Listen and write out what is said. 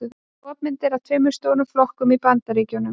Skopmynd af tveimur stóru flokkunum í Bandaríkjunum.